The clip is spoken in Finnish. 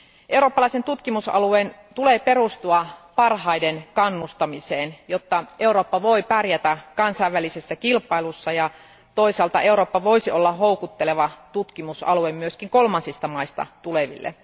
Eurooppalaisen tutkimusalueen tulee perustua parhaiden kannustamiseen, jotta Eurooppa voi pärjätä kansainvälisessä kilpailussa ja toisaalta Eurooppa voisi olla houkutteleva tutkimusalue myös kolmansista maista tuleville.